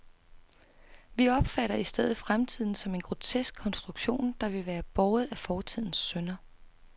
Vi opfatter i stedet fremtiden som en grotesk konstruktion, der vil være båret af fortidens synder.